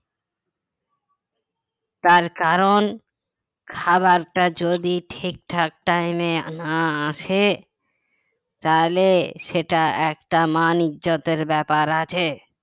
তার কারণ খাবারটা যদি ঠিকঠাক time এ না আসে তাহলে সেটা একটা মান ইজ্জতের ব্যাপার আছে